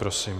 Prosím.